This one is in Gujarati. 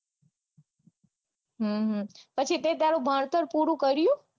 હમ હમ પછી તે તારું ભણતર પૂરું કર્યું.